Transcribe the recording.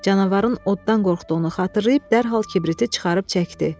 Canavarın oddan qorxduğunu xatırlayıb dərhal kibriti çıxarıb çəkdi.